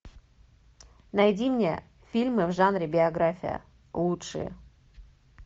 найди мне фильмы в жанре биография лучшие